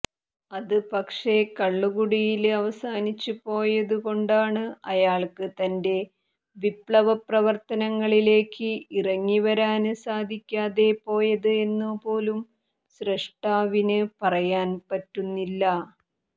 അത് പക്ഷെ കള്ളുകുടിയില് അവസാനിച്ചുപോയതുകൊണ്ടാണ് അയാള്ക്ക് തന്റെ വിപ്ളവപ്രവര്ത്തനങ്ങളിലേക്ക് ഇറങ്ങിവരാന് സാധിക്കാതെ പോയത് എന്നു പോലും സൃഷ്ടാവിന് പറയാന് പറ്റുന്നില്ല